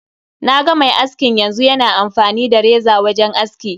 Naga mai askin yanzu, yana amfani da reza wajen aski.